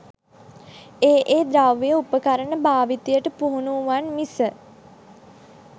ඒ ඒ ද්‍රව්‍ය උපකරණ භාවිතයට පුහුණු වූවන් මිස,